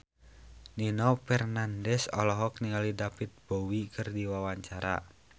Nino Fernandez olohok ningali David Bowie keur diwawancara